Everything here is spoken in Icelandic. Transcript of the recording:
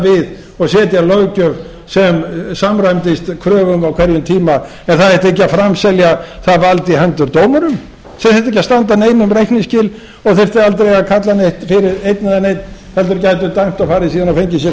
við og setja löggjöf sem samræmdist kröfum á hverjum tíma en það ætti ekki að framselja það vald í hendur dómurum sem þyrftu ekki að standa neinum reikningsskil og þyrftu aldrei að kalla neinn fyrir einn eða neinn heldur gætu dæmt og fengið sér síðan kaffisopa og